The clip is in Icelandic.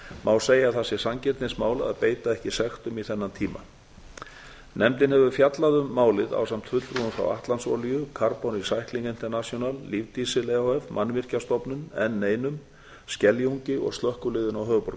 má segja að það sé sanngirnismál að beita ekki sektum í þennan tíma nefndin hefur fjallað um málið ásamt fulltrúum frá atlantsolíu carbon recycling international lífdísil e h f mannvirkjastofnun n einum skeljungi og slökkviliðinu á